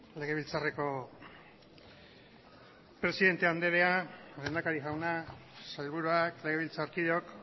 legebiltzarreko presidente andrea lehendakari jauna sailburuak legebiltzarkideok